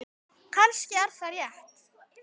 Kannski er það rétt.